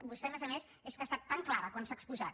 vostè a més a més és que ha estat tan clara quan s’ha exposat